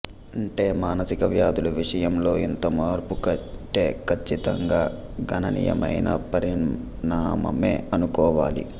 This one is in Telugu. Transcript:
అంటే మానసిక వ్యాధుల విషయంలో ఇంతమార్పు అంటే కచ్చితంగా గణనీయమైన పరిణామమే అనుకోవాలి